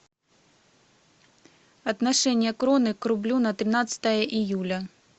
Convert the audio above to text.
отношение кроны к рублю на тринадцатое июля